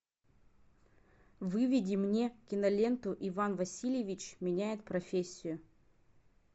выведи мне киноленту иван васильевич меняет профессию